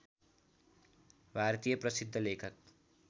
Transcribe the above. भारतीय प्रसिद्ध लेखक